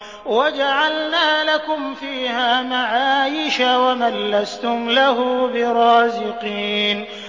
وَجَعَلْنَا لَكُمْ فِيهَا مَعَايِشَ وَمَن لَّسْتُمْ لَهُ بِرَازِقِينَ